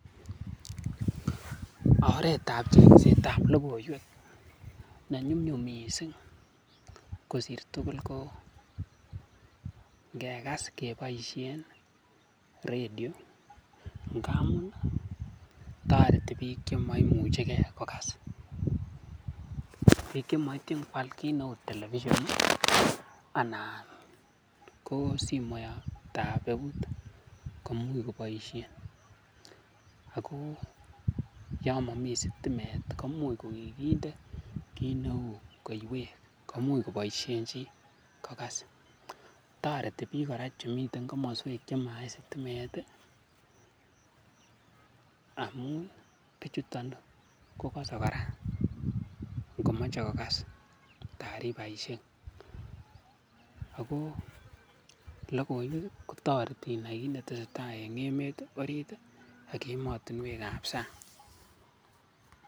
Oreetab chengsetab lokoiwek ne nyumnyum mising kosir tukul ko ngekas keboishen rediongamun toreti biik chemaimucheke kokas, biik cemoityin kwaal kiit neuu television anan ko simoitab eut komuch koboishen ak ko yoon momi sitimet komuch ko kikinde kiit neuu koiwek komuch koboishen chii kokas toreti kora biik chemiten komoswek chemait sitimet amun bichuton kokose kora ngomoche kokas taribaishek ak ko lokoiwek kotoreti inaii kiit netesetai en emet oriit ak emotinwekab sang.